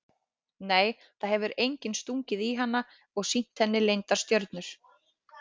Nei það hefur enginn stungið í hana og sýnt henni leyndar stjörnur.